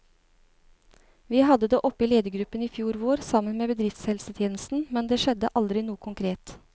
Vi hadde det oppe i ledergruppen i fjor vår, sammen med bedriftshelsetjenesten, men det skjedde aldri noe konkret.